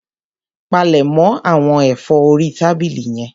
Palẹ̀mọ̀ àwọn ẹ̀fọ́ orí tábìlì yẹn.